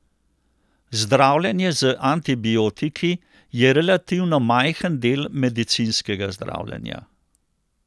Zdravljenje z antibiotiki je relativno majhen del medicinskega zdravljenja.